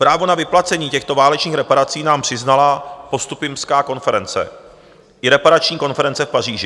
Právo na vyplacení těchto válečných reparací nám přiznala postupimská konference i reparační konference v Paříži.